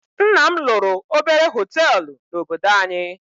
Nna m lụrụ obere hótelu na -obodo anyị.